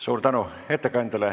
Suur tänu ettekandjale.